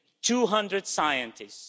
200 scientists.